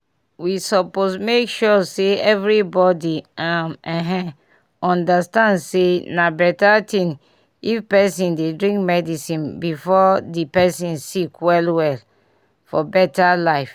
we suppose make sure say everybody [um][um]ehn understand say na beta thing if pesin dey drink medicine before di pesin sick well well for beta life